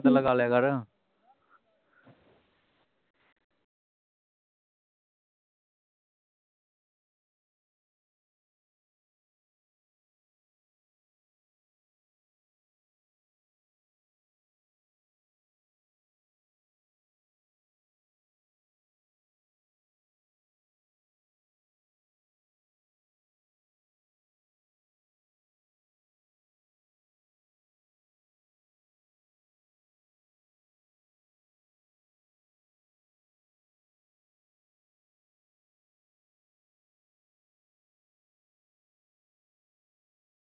ਲਗਾ ਲਿਆ ਕਰ